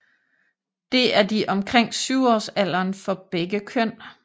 Det er de omkring 7 årsalderen for begge køn